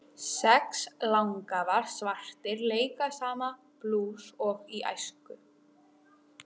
Sex langafar svartir leika sama blús og í æsku.